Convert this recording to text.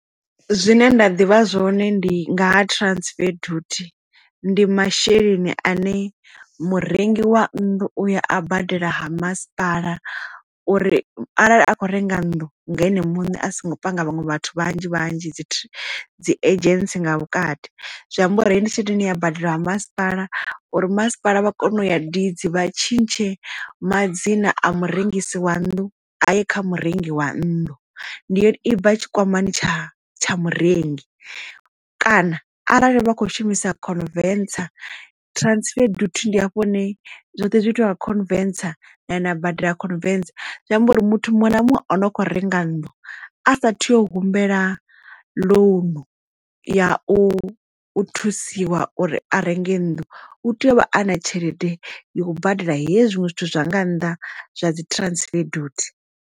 Zwine nda ḓivha zwone ndi nga ha transfer dutie, ndi masheleni ane murengi wa nnḓu uya a badela ha masipala uri arali a khou renga nnḓu nga ene muṋe a songo panga vhaṅwe vhathu vhanzhi vhanzhi dzi dzi agents nga vhukati. Zwi amba uri ndi tshelede ine ya badela ha masipala uri masipala vha kone u ya deeds vha tshintshe madzina a murengisi wa nnḓu a ye kha murengi wa nnḓu ndi yone i kha tshikwama tsha tsha murengi kana arali vha kho shumisa convinces transfer duty ndi hafho hune zwoṱhe zwi itiwe ha na badela convencer zwi amba uri muthu muṅwe na muṅwe o no kho renga nnḓu a sa thi u humbela lounu ya u thusiwa uri a renge nnḓu u tea u vha a na tshelede ya u badela hezwi zwinwe zwithu zwa nga nnḓa zwa dzi transfer duty.